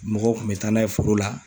Mɔgɔw kun bɛ taa n'a ye foro la.